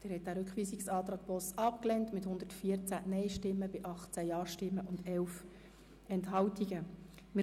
Sie haben den Rückweisungsantrag Boss mit 114 Nein- gegen 18 Ja-Stimmen bei 11 Enthaltungen abgelehnt.